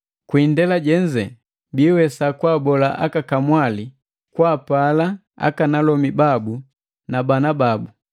kwi indela jenze biiwesa kwaabola aka kamwali kwaapala aka alomi babu na bana babu,